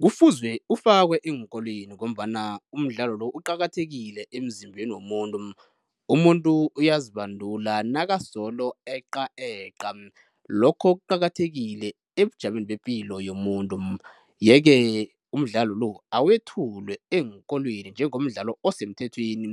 Kufuzwe ufake eenkolweni ngombana umdlalo lo uqakathekile emzimbeni womuntu. Umuntu uyazibandula nakasolo eqa eqa, lokho kuqakathekile ebujameni bepilo yomuntu, yeke umdlalo lo awethulwe eenkolweni njengomdlalo osemthethweni